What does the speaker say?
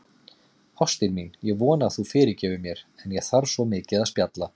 Ástin mín, ég vona að þú fyrirgefir mér, en ég þarf svo mikið að spjalla.